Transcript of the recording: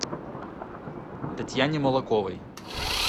татьяне молоковой